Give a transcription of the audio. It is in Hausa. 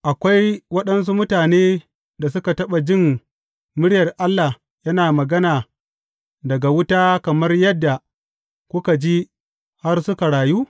Akwai waɗansu mutanen da suka taɓa jin muryar Allah yana magana daga wuta, kamar yadda kuka ji har suka rayu?